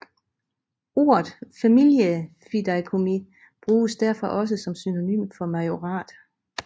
Ordet familiefideikommis bruges derfor også som synonym for majorat